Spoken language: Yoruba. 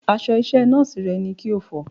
Aṣọ iṣẹ́ Nọ́ọ̀sì rẹ ni kí o fọ̀!